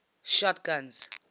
shotguns